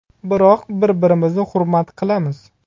Biroq bir-birimizni hurmat qilamiz.